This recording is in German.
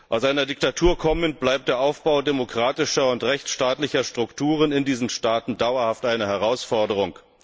Aus einer Diktatur kommend bleibt der Aufbau demokratischer und rechtsstaatlicher Strukturen in diesen Staaten dauerhaft eine Herausforderung.